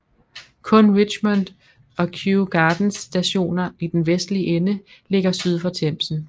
Kun Richmond og Kew Gardens Stationer i den vestlige ende ligger syd for Themsen